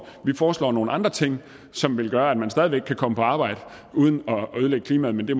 vi foreslår nogle andre ting som vil gøre at man stadig væk kan komme på arbejde uden at ødelægge klimaet men det